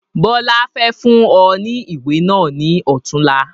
Bọlá fẹ́ fún ọ ní ìwé náà ni ọ̀tunla